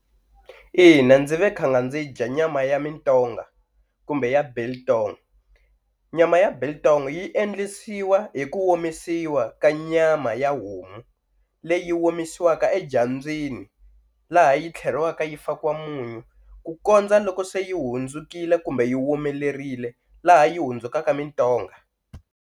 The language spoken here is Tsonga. Ina ndzi ve khanga ndzi yi dya nyama ya mintonga kumbe ya biltong, nyama ya biltong yi endlisiwa hi ku omisiwa ka nyama ya homu leyi omisiwaka edyambyini laha yi tlheriwaka yi fakiwa munyu ku kondza loko se yi hundzukile kumbe yi womelerile laha yi hundzukaka mintonga.